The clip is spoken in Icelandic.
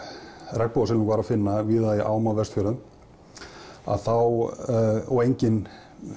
regnbogasilung var að finna víða í ám á Vestfjörðum að þá og engin